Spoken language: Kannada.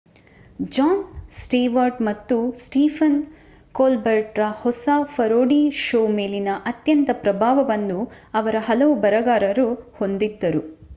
ಜಾನ್ ಸ್ಟೆವಾರ್ಟ್‌ ಮತ್ತು ಸ್ಟೀಫನ್ ಕೋಲ್ಬೆರ್ಟ್‌ರ ಹೊಸ ಪರೋಡಿ ಶೋ ಮೇಲಿನ ಅತ್ಯಂತ ಪ್ರಭಾವವನ್ನು ಅವರ ಹಲವು ಬರಹಗಾರರು ಹೊಂದಿದ್ದರು